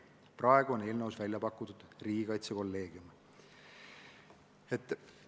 Praegu on eelnõus välja pakutud riigikaitsekolleegiumi moodustamine.